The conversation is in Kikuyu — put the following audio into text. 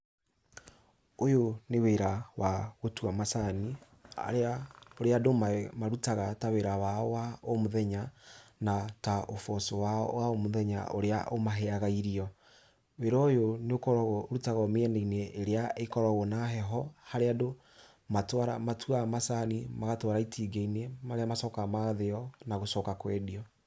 Ũyũ nĩ wĩra wa gũtua macani, ũrĩa andũ marutaga ta wĩra wao wa o mũthenya, na ta ũboco wao wa o mũthenya ũrĩa ũmaheaga irio. wĩra ũyũ nĩ ũkoragwo, ũrutagwo mĩena-inĩ ĩrĩa ĩkoragwo na irio harĩa andũ matuaga macani, magatwara itinga-inĩ, marĩa macokaga magathĩo, na gũcoka kwendio.